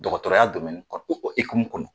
Dɔkɔtɔrɔya kɔnɔ ekumu kɔnɔ